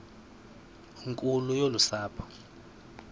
nkulu yolu sapho